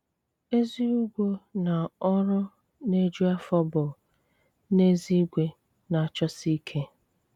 Ézí ùgwó ná ọrụ ná-éjú áfó bú, n’ézígwé, ná-chọ́sí íké.